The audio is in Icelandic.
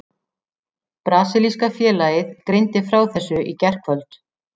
Brasilíska félagið greindi frá þessu í gærkvöld.